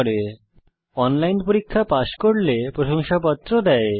যারা অনলাইন পরীক্ষা পাস করে তাদের প্রশংসাপত্র দেওয়া হয়